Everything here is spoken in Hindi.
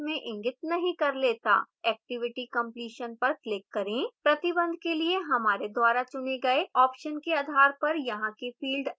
activity completion पर click करें प्रतिबंध के लिए हमारे द्वारा चुने गए option के आधार पर यहां के fields अलग होंगे